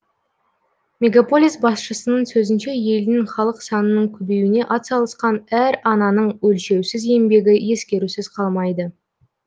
мегаполис басшысының сөзінше елдің халық санының көбеюіне атсалысқан әр ананың өлшеусіз еңбегі ескерусіз қалмайды